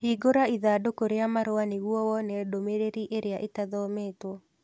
hingũra ithandũkũ rĩa marũa nĩguo wone ndũmĩrĩri ĩrĩa ĩtathometũo